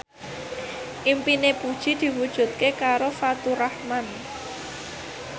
impine Puji diwujudke karo Faturrahman